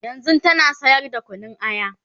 yanzun tana sayar da Kunun aya